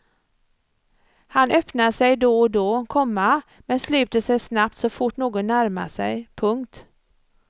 Han öppnar sig då och då, komma men sluter sig snabbt så fort någon närmar sig. punkt